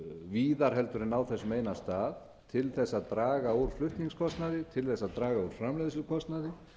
víðar heldur en á þessum eina stað til þess að draga úr flutningskostnaði til þess að draga úr framleiðslukostnaði